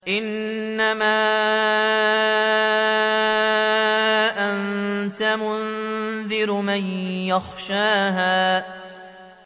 إِنَّمَا أَنتَ مُنذِرُ مَن يَخْشَاهَا